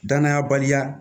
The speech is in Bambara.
Danaya baliya